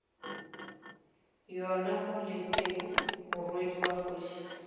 yona maleteku morwedi wa kgoši